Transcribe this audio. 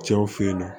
Cɛw fe yen nɔ